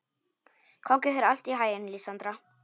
Gangi þér allt í haginn, Lísandra.